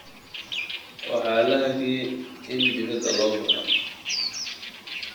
Waa la hakiyay in dibadda loo baxo